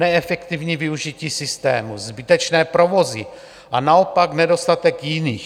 Neefektivní využití systému, zbytečné provozy a naopak nedostatek jiných.